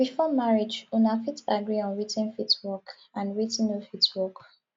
before marriage una fit agree on wetin fit work and wetin no fit work